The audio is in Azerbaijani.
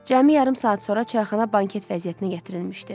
Cəmi yarım saat sonra çayxana banket vəziyyətinə gətirilmişdi.